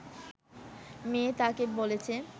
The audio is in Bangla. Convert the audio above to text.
মেয়ে তাকে বলেছে